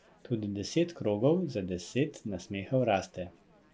Tudi Deset krogov za deset nasmehov raste.